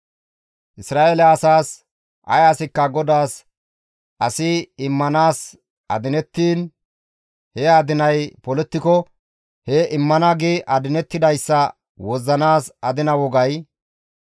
«Isra7eele asaas, ‹Ay asikka GODAAS as immanaas adinettiin he adinay polettiko he immana gi adinettidayssa wozzanaas adina wogay,